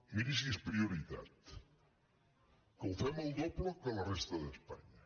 miri si és prioritat que ho fem el doble que la resta d’espanya